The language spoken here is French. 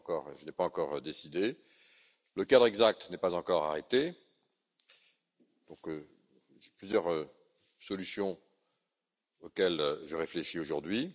je n'ai pas encore décidé le cadre exact n'est pas encore arrêté et j'ai plusieurs solutions, auxquelles je réfléchis aujourd'hui.